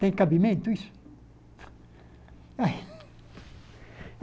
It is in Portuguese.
Tem cabimento, isso?